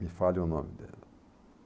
Me falha o nome dela.